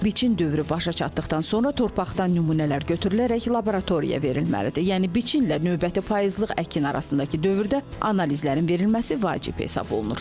Biçin dövrü başa çatdıqdan sonra torpaqdan nümunələr götürülərək laboratoriyaya verilməlidir, yəni biçinlə növbəti payızlıq əkin arasındakı dövrdə analizlərin verilməsi vacib hesab olunur.